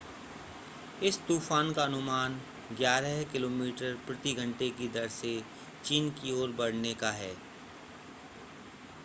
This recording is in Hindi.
इस तूफान का अनुमान ग्यारह किलोमीटर प्रति घंटे की दर से चीन की ओर बढ़ने का है